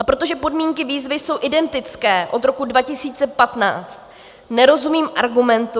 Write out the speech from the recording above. A protože podmínky výzvy jsou identické od roku 2015, nerozumím argumentu...